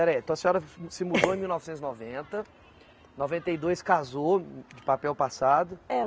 aí. Então a senhora vi se mudou em mil novecentos e noventa, noventa e dois casou de papel passado.